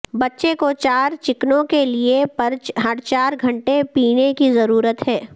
بچے کو چار چکنوں کے لئے ہر چار گھنٹے پینے کی ضرورت ہے